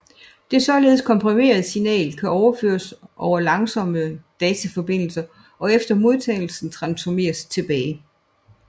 Det således komprimerede signal kan overføres over langsomme dataforbindelser og efter modtagelsen transformeres tilbage